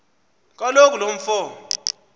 kaloku lo mfo